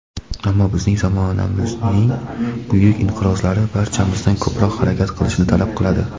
ammo bizning zamonamizning buyuk inqirozlari barchamizdan ko‘proq harakat qilishni talab qiladi..